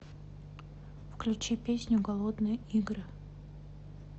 включи песню голодные игры